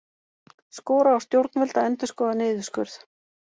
Skora á stjórnvöld að endurskoða niðurskurð